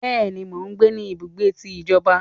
Béèni, mọ gbé ní ibùgbé tí ìjọba